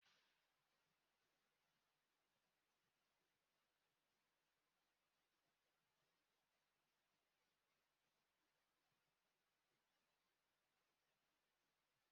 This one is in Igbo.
Ịṅụ sịga na ụtaba ga-ada, na-adaba na atụmatụ ahụike zuru ụwa ọnụ maka ọdịnihu enweghị anwụrụ ọkụ.